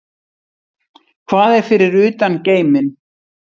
Hvað er fyrir utan geiminn?